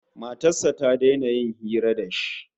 Matar sa ta daina yin hira da shi